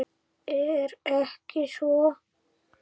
Er ekki svo?